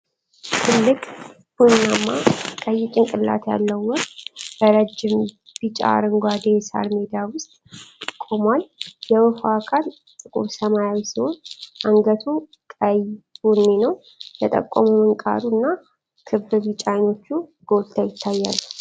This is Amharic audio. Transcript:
ትልቅ ቡናማ ቀይ ጭንቅላት ያለው ወፍ በረጅም፣ ቢጫ አረንጓዴ የሳር ሜዳ ውስጥ ቆሟል። የወፏ አካል ጥቁር ሰማያዊ ሲሆን አንገቱ ቀይ ቡኒ ነው። የጠቆመው ምንቃሩ እና ክብ ቢጫ አይኖቹ ጎልተው ይታያሉ።